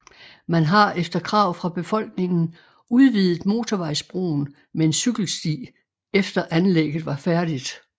Man har efter krav fra befolkningen udvidet motorvejsbroen med en cykelsti efter anlægget var færdigt